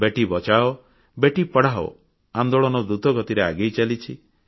ବେଟୀ ବଚାଓ ବେଟୀ ପଢ଼ାଓ ଆନ୍ଦୋଳନ ଦ୍ରୁତ ଗତିରେ ଆଗେଇ ଚାଲିଛି